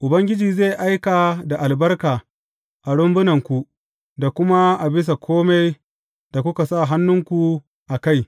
Ubangiji zai aika da albarka a rumbunanku da kuma a bisa kome da kuka sa hannunku a kai.